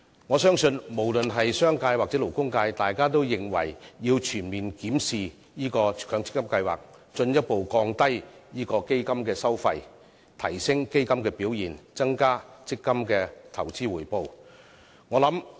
我相信，無論是商界或勞工界都認為要全面檢視強積金計劃，進一步降低基金收費，提升基金表現，以增加強積金的投資回報。